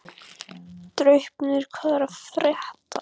Draupnir, hvað er að frétta?